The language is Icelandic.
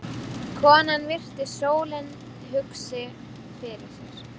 Konan virti stólinn hugsi fyrir sér.